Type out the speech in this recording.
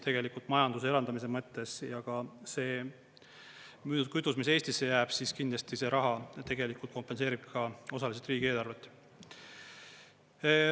Tegelikult majanduse elavdamise mõttes ja ka see müüdud kütus, mis Eestisse jääb, kindlasti see raha tegelikult kompenseerib ka osaliselt riigieelarvet.